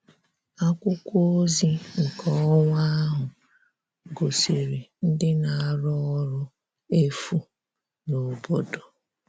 Akwụkwọ ozi nke ọnwa ahụ gosiri ndị na-arụ ọrụ efu n'obodo